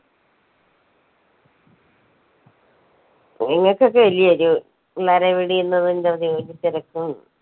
നിങ്ങക്കൊക്കെ അല്ലിയൊ ഒരു തിരക്കും